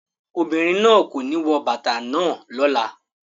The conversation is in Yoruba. Ọmọbìnrin náà kò ní wọ bàtà náà lọ́la.